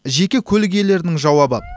жеке көлік иелерінің жауабы